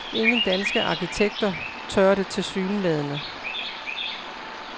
Ingen danske arkitekter tør det tilsyneladende.